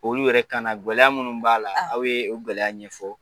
Olu yɛrɛ kanagɛlɛya minnu b'a la aw ye gɛlɛya ɲɛfɔ